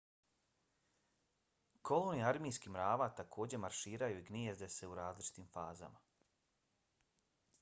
kolonije armijskih mrava također marširaju i gnijezde se u različitim fazama